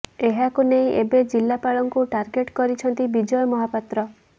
ଏହାକୁ ନେଇ ଏବେ ଜିଲ୍ଲାପାଳଙ୍କୁ ଟାର୍ଗେଟ କରିଛନ୍ତି ବିଜୟ ମହାପାତ୍ର